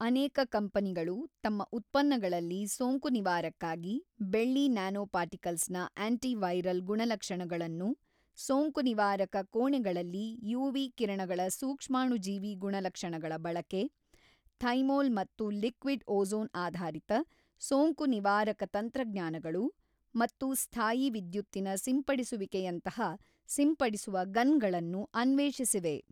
ಅನೇಕ ಕಂಪನಿಗಳು ತಮ್ಮ ಉತ್ಪನ್ನಗಳಲ್ಲಿ ಸೋಂಕುನಿವಾರಕ್ಕಾಗಿ ಬೆಳ್ಳಿ ನ್ಯಾನೊಪರ್ಟಿಕಲ್ಸ್ನ ಆಂಟಿವೈರಲ್ ಗುಣಲಕ್ಷಣಗಳನ್ನು, ಸೋಂಕುನಿವಾರಕ ಕೋಣೆಗಳಲ್ಲಿ ಯುವಿ ಕಿರಣಗಳ ಸೂಕ್ಷ್ಮಾಣುಜೀವಿ ಗುಣಲಕ್ಷಣಗಳ ಬಳಕೆ, ಥೈಮೋಲ್ ಮತ್ತು ಲಿಕ್ವಿಡ್ ಓಝೋನ್ ಆಧಾರಿತ ಸೋಂಕುನಿವಾರಕ ತಂತ್ರಜ್ಞಾನಗಳು ಮತ್ತು ಸ್ಥಾಯೀ ವಿದ್ಯುತ್ತಿನ ಸಿಂಪಡಿಸುವಿಕೆಯಂತಹ ಸಿಂಪಡಿಸುವ ಗನ್ಗಳನ್ನು ಅನ್ವೇಷಿಸಿವೆ.